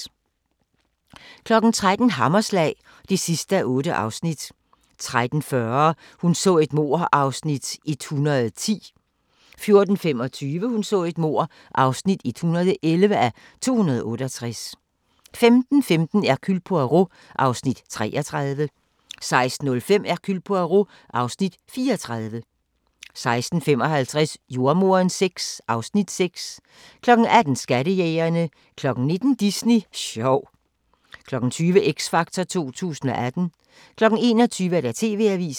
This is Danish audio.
13:00: Hammerslag (8:8) 13:40: Hun så et mord (110:268) 14:25: Hun så et mord (111:268) 15:15: Hercule Poirot (Afs. 33) 16:05: Hercule Poirot (Afs. 34) 16:55: Jordemoderen VI (Afs. 6) 18:00: Skattejægerne 19:00: Disney sjov 20:00: X Factor 2018 21:00: TV-avisen